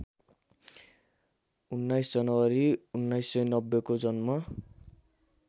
१९ जनवरी १९९० को जन्म